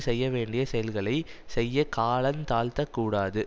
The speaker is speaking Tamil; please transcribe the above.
செய்யவேண்டிய செயல்களை செய்ய காலந்தாழ்த்தக் கூடாது